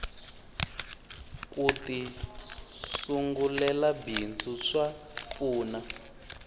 kuti sungulela bindzu swa pfuna